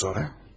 Peki sonra?